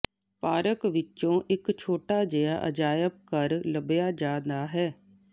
park ਵਿੱਚੋਂ ਇੱਕ ਛੋਟਾ ਜਿਹਾ ਅਜਾਇਬਘਰ ਘਰ ਲੱਭਿਆ ਜਾਂਦਾ ਹੈ